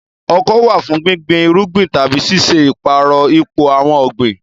Ọkọ́ wà fún gbígbin irúgbìn tàbí ṣíṣe ìpààrọ̀ ipò àwọn ọ̀gbìn.